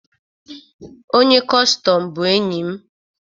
Onye kọstọm bụ enyi m